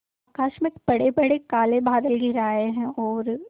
आकाश में बड़ेबड़े काले बादल घिर आए हैं और